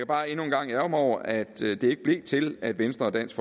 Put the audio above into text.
bare endnu en gang ærgre mig over at det ikke blev til at venstre og dansk